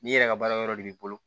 Ni yɛrɛ ka baara wɛrɛ de b'i bolo